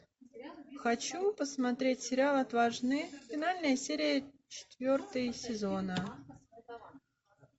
хочу посмотреть сериал отважные финальная серия четвертого сезона